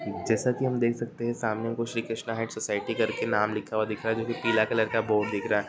जैसे की हम देख सकते है सामने कुछ श्री कृष्णा हाइट्स सोसायटी कर के नाम लिखा हुआ दिख रहा है जो कि पीला कलर का है बोर्ड दिख रहा है।